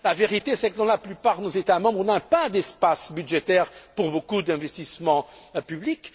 La vérité, c'est que dans la plupart de nos États membres, nous n'avons pas d'espace budgétaire pour beaucoup d'investissements publics.